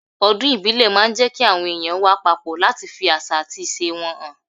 Ọdún ìbílẹ̀ máa ń jẹ́ kí àwọn èèyàn wà papọ̀ láti fi àṣà àti ìṣe wọn hàn.